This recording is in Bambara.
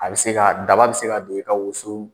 A bɛ se ka daba bɛ se ka don i ka woso